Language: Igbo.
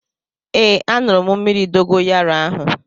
Ee aṅụrụ m mmírí dogoyaro ahu